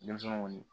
Denmisɛnw